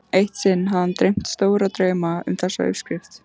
Eitt sinn hafði hann dreymt stóra drauma um þessa uppskrift.